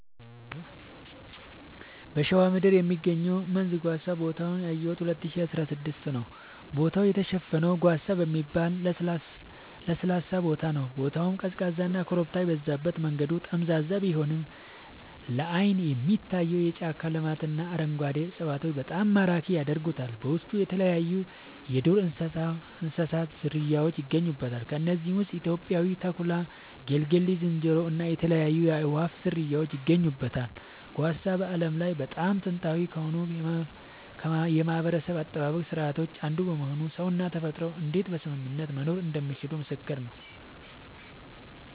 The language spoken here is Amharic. በሸዋ ምድር የሚገኘው መንዝ ጓሳ ቦታውን ያየሁት 2016 ነዉ ቦታው የተሸፈነው ጓሳ በሚባል ለስላሳ ሳር ነዉ ቦታው ቀዝቃዛና ኮረብታ የበዛበት መንገዱ ጠመዝማዛ ቢሆንም ላይን የሚታየው የጫካ ልማትና አረንጓዴ እፅዋቶች በጣም ማራኪ ያደርጉታል በውስጡ የተለያይዩ የዱር እንስሳት ዝርያውች ይገኙበታል ከነዚህም ውስጥ ኢትዮጵያዊው ተኩላ ጌልጌ ዝንጀሮ እና የተለያዩ የአእዋፋት ዝርያወች ይገኙበታል። ጓሳ በዓለም ላይ በጣም ጥንታዊ ከሆኑ የማህበረሰብ አጠባበቅ ስርዓቶች አንዱ በመሆኑ ሰውና ተፈጥሮ እንዴት በስምምነት መኖር እንደሚችሉ ምስክር ነዉ